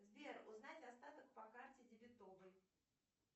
сбер узнать остаток по карте дебетовой